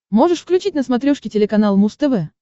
можешь включить на смотрешке телеканал муз тв